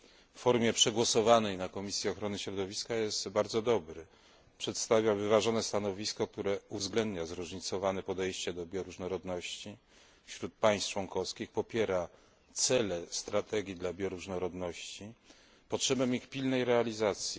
w formie przegłosowanej w Komisji Ochrony Środowiska, jest bardzo dobry, przedstawia wyważone stanowisko, które uwzględnia zróżnicowane podejście do bioróżnorodności wśród państw członkowskich, popiera cele strategii dla bioróżnorodności, potrzebę ich pilnej realizacji.